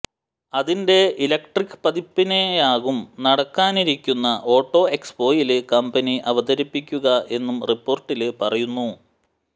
അതിന്റെ ഇലക്ട്രിക്ക് പതിപ്പിനെയാകും നടക്കാനിരിക്കുന്ന ഓട്ടോ എക്സ്പോയില് കമ്പനി അവതരിപ്പിക്കുക എന്നും റിപ്പോര്ട്ടില് പറയുന്നു